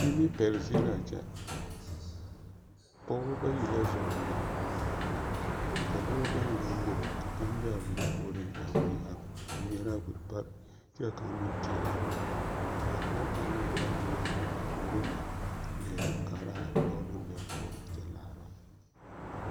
Nimipɛle zie la a kyɛ, pɔgebɔ bayi la zɔŋ wiri ka dɔbɔ bayi meŋ bebe ka kaŋ be a wiri puoriŋ a ŋmeɛrɛ a wiri pare kyɛ ka kaŋ meŋ teɛrɛ a wiri k'a pɔge kaŋa be a zɔŋ a wiri a puoriŋ na leɛ kaara a dɔɔ naŋ be a puoriŋ kyɛ laara.